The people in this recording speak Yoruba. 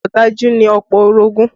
Ọ̀dájú ni ọ̀pọ̀ orogún